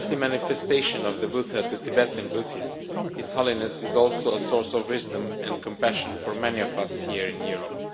The earthly manifestation of the Buddha to Tibetan Buddhists, His Holiness is also a source of wisdom and compassion for many of us here in Europe.